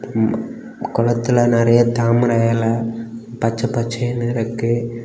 இந்த கோலத்தில நெறைய தாமர எல பச்ச பச்சேனு இருக்கு.